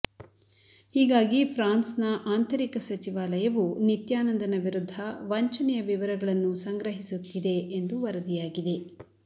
ಹೀಗಾಗಿ ಫ್ರಾನ್ಸ್ನ ಆಂತರಿಕ ಸಚಿವಾಲಯವು ನಿತ್ಯಾನಂದನ ವಿರುದ್ಧ ವಂಚನೆಯ ವಿವರಗಳನ್ನು ಸಂಗ್ರಹಿಸುತ್ತಿದೆ ಎಂದು ವರದಿಯಾಗಿದೆ